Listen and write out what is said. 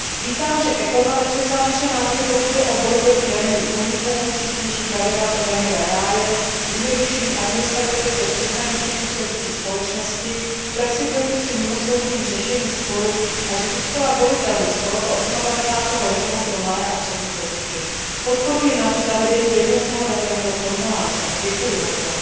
Vítám, že Hospodářský a měnový výbor převzal naše návrhy, pokud jde o boj proti daňovým únikům, přísnější pravidla pro daňové ráje, zjednodušení administrativy pro přeshraničně působící společnosti, flexibilitu při mimosoudním řešení sporů, a že zůstala volitelnost tohoto osmadvacátého režimu pro malé a střední podniky. Podporuji navíc zavedení jednotného daňového formuláře a děkuji za